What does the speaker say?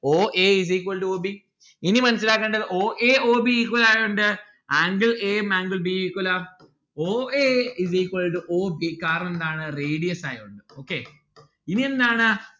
o a is equal to o b ഇനി മനസ്സിലാക്കേണ്ടത് o a o b equal ആയോണ്ട് angle a ഉം angle b ഉം equal ആ o a is equal to o b കാരണം എന്താണ് radius ആയോണ്ട് okay ഇനി എന്താണ്